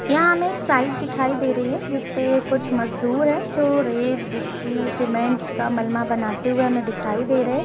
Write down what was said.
यहाँ हमें एक साइड दिखाई दे रही है। जिस पे कुछ मजदूर है जो रेत गिट्टी सीमेन्ट का मलमा बनाते हुए हमें दिखाई दे रहे है।